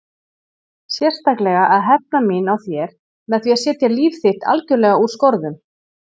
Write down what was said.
Sérstaklega að hefna mín á þér með því að setja líf þitt algjörlega úr skorðum.